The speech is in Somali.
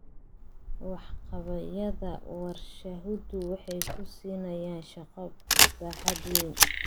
Waxqabadyada warshaduhu waxay ku siinayaan shaqo baaxad weyn.